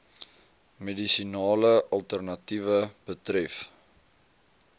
medisinale alternatiewe betref